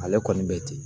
Ale kɔni be ten